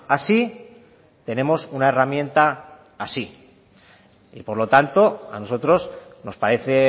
así tenemos una herramienta así y por lo tanto a nosotros nos parece